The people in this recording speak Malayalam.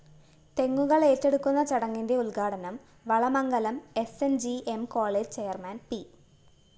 തെങ്ങുകളേറ്റെടുക്കുന്ന ചടങ്ങിന്റെ ഉദ്ഘാടനം Valamangalam S N G M college chairman P